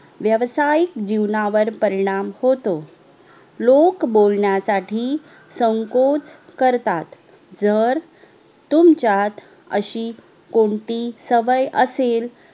वेवसाईक जिवणावर परिणाम होतो लोक बोलण्यासाठी संकोच करतात जर तुमच्यात अशी कोणतीच सवय असेल